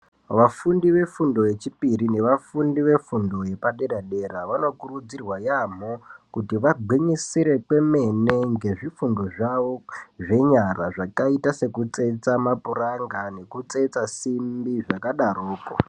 Vafundi vefundo yechipiri nevafundi vefundo yepadera-dera vanokurudzirwa yaamho kuti vagwinyisire kwemene ngezvifundo zvavo zvenyara. Zvakaita sekutsetsa mapuranga nekutsetsa simbi zvakadaroko.